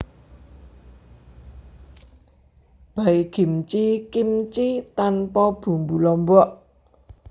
Baekgimchi kimchi tanpa bumbu lombok